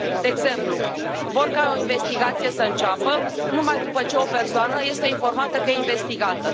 De exemplu, vor ca o investigație să înceapă numai după ce o persoană este informată că e investigată.